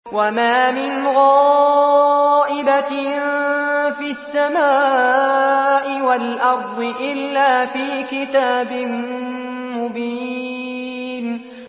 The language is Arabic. وَمَا مِنْ غَائِبَةٍ فِي السَّمَاءِ وَالْأَرْضِ إِلَّا فِي كِتَابٍ مُّبِينٍ